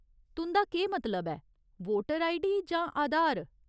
तुं'दा केह् मतलब ऐ, वोटर आईडी जां आधार ?